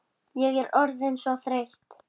Miklu lengra en mamma gerði.